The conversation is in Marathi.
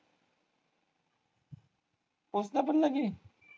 पोचल्या पण लगे?